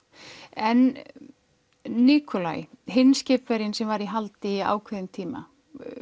en hinn skipverjinn sem var í haldi í ákveðinn tíma